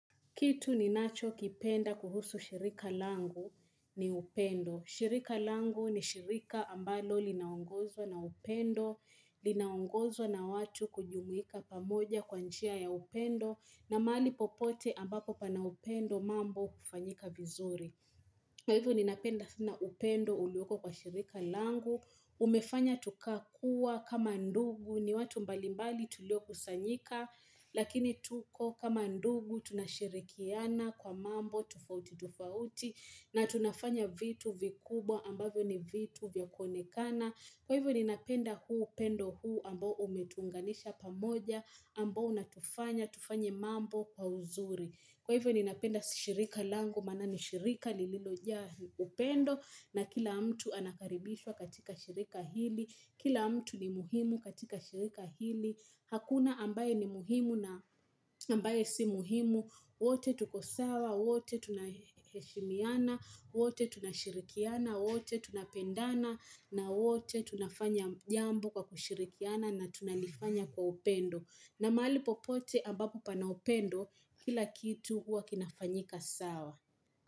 Kitu ninacho kipenda kuhusu shirika langu ni upendo. Shirika langu ni shirika ambalo linaongozwa na upendo, linaongozwa na watu kujumuika pamoja kwa njia ya upendo, na mahali popote ambapo pana upendo mambo hufanyika vizuri. Hivyo ninapenda sana upendo ulioko kwa shirika langu. Umefanya tukakuwa kama ndugu ni watu mbalimbali tuliokusanyika, Lakini tuko kama ndugu tunashirikiana kwa mambo tofauti tofauti na tunafanya vitu vikubwa ambavyo ni vitu vya kuonekana. Kwa hivyo ninapenda huu upendo huu ambao umetuunganisha pamoja ambao unatufanya tufanye mambo kwa uzuri. Kwa hivyo ninapenda shirika langu, maana ni shirika lililojaa upendo na kila mtu anakaribishwa katika shirika hili, kila mtu ni muhimu katika shirika hili, hakuna ambaye ni muhimu na ambaye si muhimu, wote tuko sawa, wote tunaheshimiana wote tunashirikiana, wote tunapendana na wote tunafanya jambo kwa kushirikiana na tunalifanya kwa upendo. Na maali popote ambapo pana upendo kila kitu huwa kinafanyika sawa.